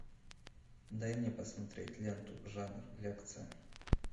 дай мне посмотреть ленту жанр лекция